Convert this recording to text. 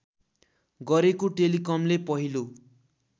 गरेको टेलिकमले पहिलो